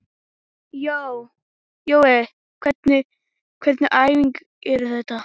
Jói, hvernig æfingar eru þetta?